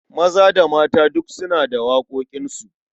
Maza da mata duk suna da waƙoƙinsu.